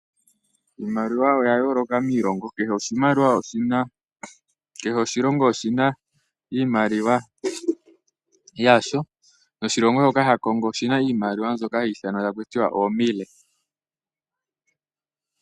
Iimaliwa oya yooloka miilongo. Kehe oshilongo oshina oshina oshimaliwa yasho. Oshilongo sha Congo oshina iimaliwa hayi ithanwa takutiwa oo Mille.